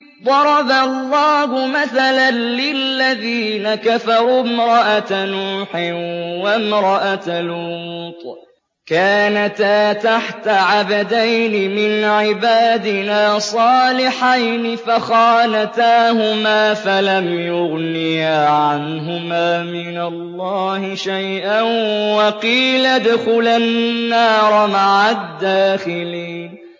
ضَرَبَ اللَّهُ مَثَلًا لِّلَّذِينَ كَفَرُوا امْرَأَتَ نُوحٍ وَامْرَأَتَ لُوطٍ ۖ كَانَتَا تَحْتَ عَبْدَيْنِ مِنْ عِبَادِنَا صَالِحَيْنِ فَخَانَتَاهُمَا فَلَمْ يُغْنِيَا عَنْهُمَا مِنَ اللَّهِ شَيْئًا وَقِيلَ ادْخُلَا النَّارَ مَعَ الدَّاخِلِينَ